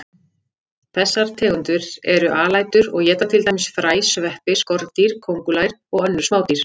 Þessar tegundir eru alætur og éta til dæmis fræ, sveppi, skordýr, kóngulær og önnur smádýr.